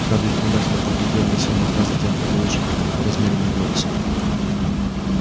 хардин внимательно поглядел на сермака затем продолжил размеренным голосом